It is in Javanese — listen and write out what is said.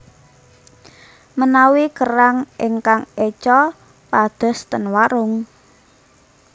Menawi kerang ingkang eco padhos ten warung